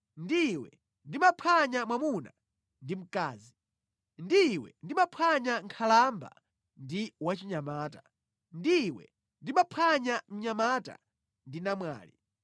Ndi iwe ndimaphwanya mwamuna ndi mkazi, ndi iwe ndimaphwanya nkhalamba ndi wachinyamata, ndi iwe ndimaphwanya mnyamata ndi namwali.